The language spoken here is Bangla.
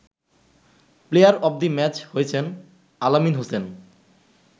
প্লেয়ার অব দি ম্যাচ হয়েছেন আল আমিন হোসেন।